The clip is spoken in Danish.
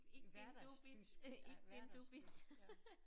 Hverdagstysk ja hverdagstysk ja